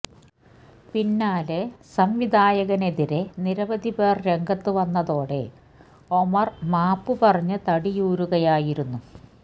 പിന്നാലെ സംവിധായകനെതിരെ നിരവധി പേര് രംഗത്തു വന്നതോടെ ഒമര് മാപ്പ് പറഞ്ഞ് തടിയൂരുകയായിരുന്നു